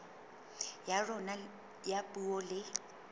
ya rona ya puo le